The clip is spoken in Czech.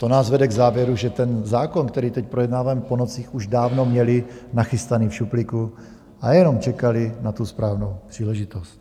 To nás vede k závěru, že ten zákon, který teď projednáváme po nocích, už dávno měli nachystaný v šuplíku a jenom čekali na tu správnou příležitost.